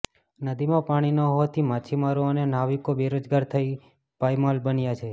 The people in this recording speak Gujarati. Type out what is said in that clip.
નદીમાં પાણી ન હોવાથી માછીમારો અને નાવિકો બેરોજગાર થઈ પાયમાલ બન્યા છે